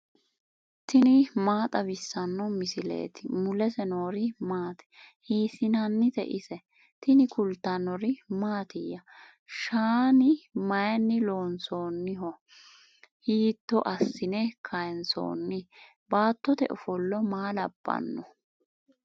tini maa xawissanno misileeti ? mulese noori maati ? hiissinannite ise ? tini kultannori mattiya? Shaanni mayiinni loonsoonniho? hiitto assine kayiinsoonni? baattote ofollo maa labbanno?